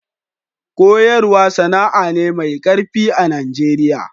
Koyaswa sana'a ne mai karfi a'Nijeriya.